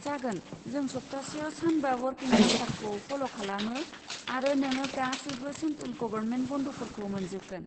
जागोन, जों सब्थासेयाव सानबा वर्किं कालसारखौ फल' खालामो आरो नोङो गासैबो सेन्ट्रेल गबरमेन्ट बन्दफोरखौ मोनजोबगोन।